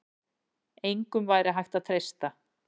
Engum væri hægt að treysta.